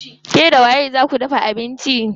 Ke da waye zaa ku dafa abinci?